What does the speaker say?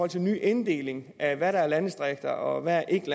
til en ny inddeling af hvad der er landdistrikter og hvad der ikke